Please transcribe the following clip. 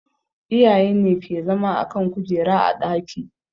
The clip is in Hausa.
Iyaye ne ke zama a kan kujera a ɗaki